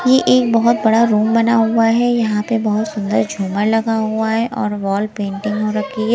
ये एक बहोत बड़ा रूम बना हुआ है यहां पे बहोत सुंदर झुमर लगा हुआ है और वॉल पेंटिंग हो रखी है।